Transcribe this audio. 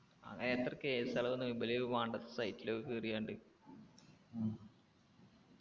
അങ്ങനെത്ര case കളാ ഇബല് വേണ്ടാത്ത site ലൊക്കെ കേറി പഞ്ഞിട്ട് ഉം